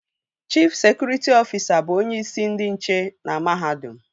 Chif sekụritị ọfisa bụ onyeisi ndị nche na mahadum